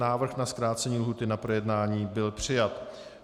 Návrh na zkrácení lhůty na projednání byl přijat.